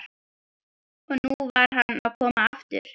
Og nú var hann að koma aftur!